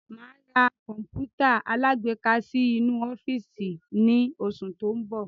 Máa ra Kọ̀npútà alágbéká sì inú ọ́fíìsì ni oṣù tó ń bọ̀.